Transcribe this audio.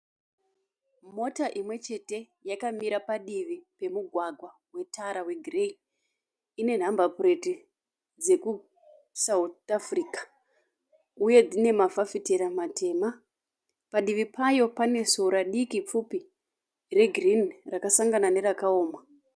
Mota imwe chete yakamira padivi pemugwagwa wetara wegireyi. Ine nhamba pureti dzeku South Africa uye dzine mafafitera matema. Padivi payo pane sora diki pfupi regirini rakasangana nerakaoma.